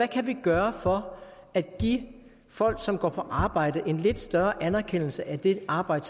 kan gøre for at give de folk som går på arbejde en lidt større anerkendelse af det arbejde